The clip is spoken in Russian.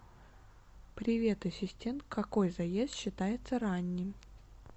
привет ассистент какой заезд считается ранним